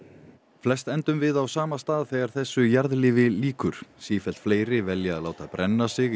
flest endum við á sama stað þegar þessu jarðlífi lýkur sífellt fleiri velja að láta brenna sig í